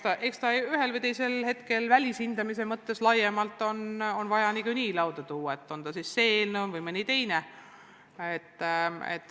Ma arvan, et ühel või teisel hetkel on see välishindamise mõttes niikuinii vaja laiemalt lauale tuua, on see siis eelnõu või mõni teine dokument.